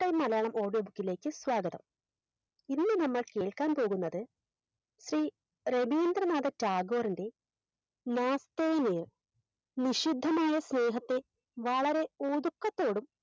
Malayalam edit ലേക്ക് സ്വാഗതം ഇന്ന് നമ്മൾ കേൾക്കാൻ പോകുന്നത് ശ്രീ രവീന്ദ്രനാഥ ടാഗോറിന്റെ വിശുദ്ധമായ സ്നേഹത്തെ വളരെ ഒതുക്കത്തോടും